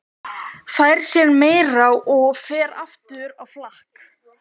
Fær sér meira og fer aftur á flakk.